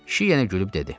Kişi yenə gülüb dedi.